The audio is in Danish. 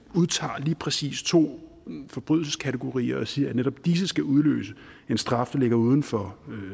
udtager lige præcis to forbrydelseskategorier og siger at netop disse skal udløse en straf der ligger uden for